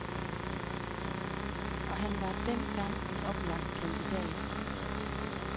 Og han var den gang en oplagt kandidat.